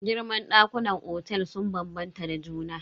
Girman ɗakunan otel sun bambanta da juna.